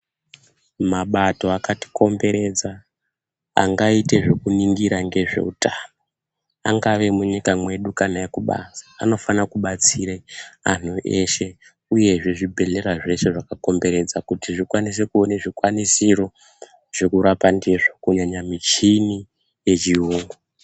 Mabato akati komberedza angaite zvekuningira ngezveutano angaa emunyika mwedu kana ekubanze anofana kubatsire anhu eshe uyezve zvibhedhlera zveshe zvekukomberedza kuti zvikwanise kuwana zvikwanisiro uzvekurapq ndizvo kunyanya muchini yechiyungu.